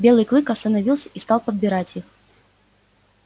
белый клык остановился и стал подбирать их